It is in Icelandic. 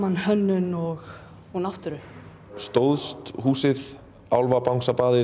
hönnun og og náttúru stóðst húsið